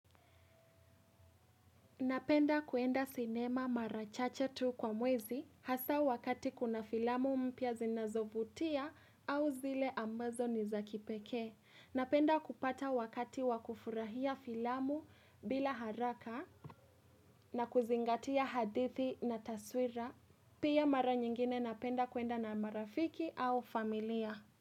Napenda kuenda sinema mara chache tu kwa mwezi hasa wakati kuna filamu mpya zinazovutia au zile ambazo ni za kipekee. Napenda kupata wakati wakufurahia filamu bila haraka na kuzingatia hadithi na taswira. Pia mara nyingine napenda kuenda na marafiki au familia.